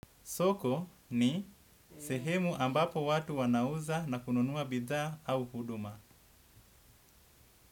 Soko ni sehemu ambapo watu wanauza na kununua bidhaa au huduma.